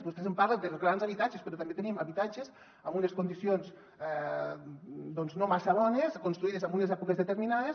vostès parlen dels grans habitatges però també tenim habitatges en unes condicions no massa bones construïts en unes èpoques determinades